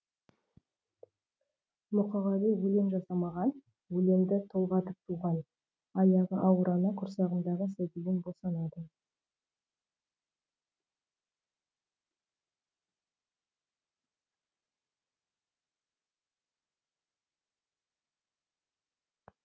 мұқағали өлең жасамаған өлеңді толғатып туған аяғы ауыр ана құрсағындағы сәбиін босанады